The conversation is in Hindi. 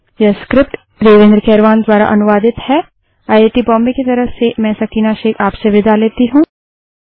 यह स्क्रिप्ट देवेन्द्र कैरवान द्वारा अनुवादित है आयआयटी मुम्बई की ओर से मैं सकीना अब आप से विदा लेती हूँ